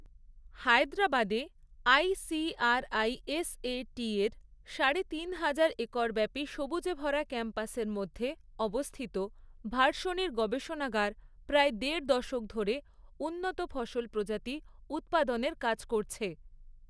হায়দরাবাদে আই.সি.আর.আই.এস.এ.টির সাড়ে তিন হাজার একর ব্যাপী সবুজে ভরা ক্যাম্পাসের মধ্যে অবস্থিত ভার্শনির গবেষণাগার প্রায় দেড় দশক ধরে উন্নত ফসল প্রজাতি উৎপাদনের কাজ করছে।